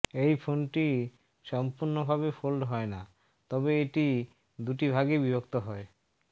এই ফোনটি সম্পূর্ণ ভাবে ফোল্ড হয়না তবে এটি দুটি ভাগে বিভক্ত হয়